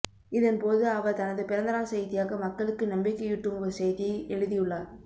இதன்போது அவர் தனது பிறந்தநாள் செய்தியாக மக்களுக்கு நம்பிக்கையூட்டும் ஒரு செய்தியை எழுதியுள்ளார்